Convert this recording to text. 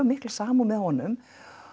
mikla samúð með honum